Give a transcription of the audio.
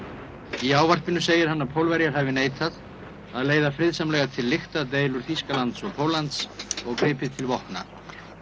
í ávarpinu segir hann að Pólverjar hafi neitað að leiða friðsamlega til lykta deilur Þýskalands og Póllands og gripið til vopna